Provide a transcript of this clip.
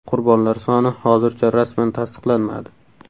Qurbonlar soni hozircha rasman tasdiqlanmadi.